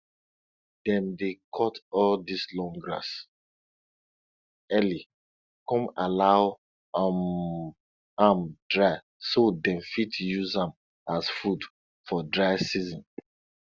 dem dey cut all dis long grass early con allow um am dry so dem fit use am as food for dry season